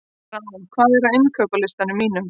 Rán, hvað er á innkaupalistanum mínum?